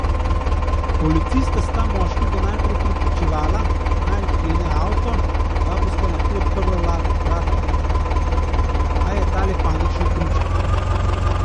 Policista sta moškega najprej prepričevala, naj odklene avto, da bosta lahko odprla vrata, a je ta le panično kričal.